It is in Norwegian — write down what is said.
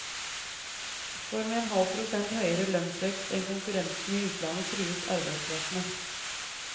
For med en halv prosent høyere lønnsvekst enn konkurrentene i utlandet trues arbeidsplassene.